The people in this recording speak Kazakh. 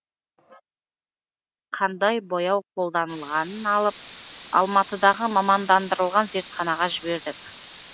қандай бояу қолданылғанын алып алматыдағы мамандандырылған зертханаға жібердік